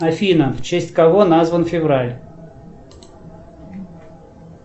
афина в честь кого назван февраль